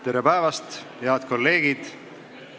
Tere päevast, head kolleegid!